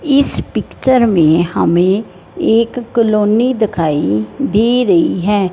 इस पिक्चर में हमें एक कॉलोनी दिखाई दे रही है।